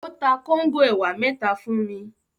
Ó ta kóńgò ẹ̀wà mẹ́ta fún mi.